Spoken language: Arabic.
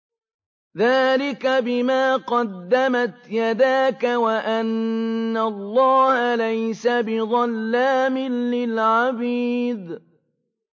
ذَٰلِكَ بِمَا قَدَّمَتْ يَدَاكَ وَأَنَّ اللَّهَ لَيْسَ بِظَلَّامٍ لِّلْعَبِيدِ